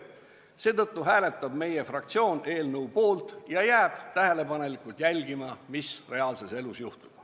Seetõttu hääletab meie fraktsioon eelnõu poolt ja jääb tähelepanelikult jälgima, mis reaalses elus juhtub.